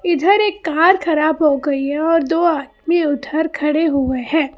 इधर एक कार खराब हो गई है और दो आदमी उधर खड़े हुए हैं।